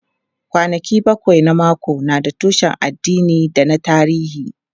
Kwanaki bakwai na mako na da tushen addini da na tarihi.